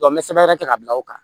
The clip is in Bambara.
n bɛ sɛbɛn kɛ k'a bila o kan